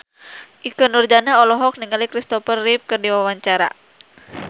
Ikke Nurjanah olohok ningali Christopher Reeve keur diwawancara